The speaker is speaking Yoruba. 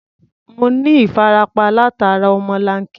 Mo ní ìfarapa látara ọmọlanke náà.